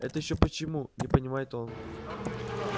это ещё почему не понимает он